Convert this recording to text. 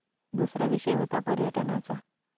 दुसरा विषय होता पर्यटनाचा.